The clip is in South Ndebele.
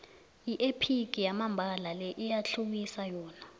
yiephigi yamambala le iyathluwisa yona